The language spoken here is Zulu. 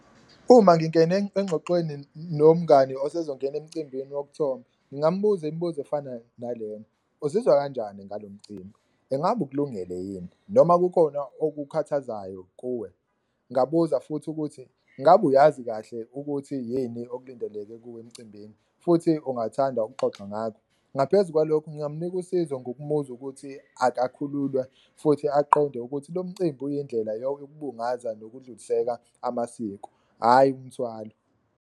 Uma ngingena engxoxweni nomngani usezongena emcimbini wokuthomba ngingambuza imibuzo efana nalena, uzizwa kanjani ngalo mcimbi? Engabe ukulungele yini noma kukhona okukhathazayo kuwe? Ngabuza futhi ukuthi, ngabe uyazi kahle ukuthi yini okulindeleke kuwe emcimbini futhi ungathanda ukuxoxa ngakho? Ngaphezu kwalokho ngingamnika usizo ngokumuzwa ukuthi akakhululwa futhi aqonde ukuthi lo mcimbi uyindlela yokubungaza nokudluliseka amasiko, hhayi umthwalo.